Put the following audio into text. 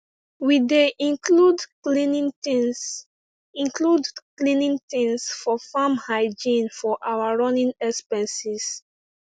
we dey include cleaning things include cleaning things for farm hygiene inside our running expenses